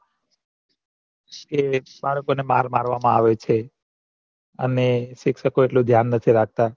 કે બાળકોને માર મારવામાં આવ્યો છે અને શિક્ષકો એટલે ધ્યાન રાખતા